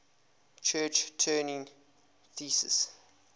church turing thesis